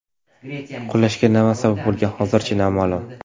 Qulashga nima sabab bo‘lgani hozircha noma’lum.